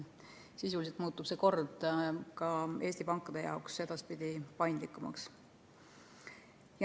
Sisuliselt muutub see kord Eesti pankade jaoks edaspidi paindlikumaks.